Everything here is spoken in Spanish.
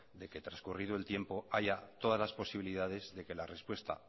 de que trascurrido el tiempo haya todas las posibilidades de que la respuesta